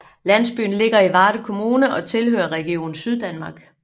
Landsbyen ligger i Varde Kommune og tilhører Region Syddanmark